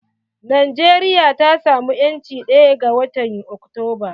Najeriya ta samu 'yanci ɗaya ga watan Oktoba.